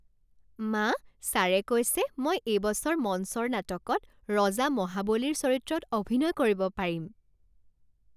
মা, ছাৰে কৈছে মই এইবছৰ মঞ্চৰ নাটকত ৰজা মহাবলীৰ চৰিত্ৰত অভিনয় কৰিব পাৰিম।